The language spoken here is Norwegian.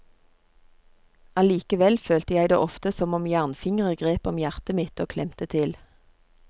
Allikevel følte jeg det ofte som om jernfingre grep om hjertet mitt og klemte til.